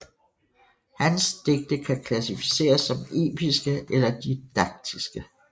Hans digte kan klassificeres som episke eller didaktiske